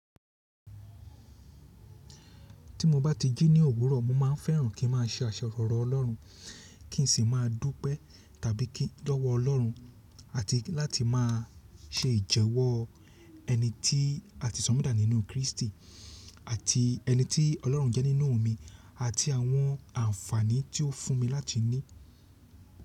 Tí mo bá ti jí ní òwúrọ̀, mo máa n fẹ́ràn kí n má a ṣe àṣẹ ọ̀rọ̀ Ọlọ́run, kí n sì máa dúpẹ́ tàbí kí lówó Ọlọ́run, àti láti má a ṣe ìjẹwọ́ ẹni tí a ti sọ̀ mí dá nínú Kristi, àti ẹni tí Ọlọ́run jẹ́ nínú mi, àti àwọn àǹfààní tí ó fún mi láti ní.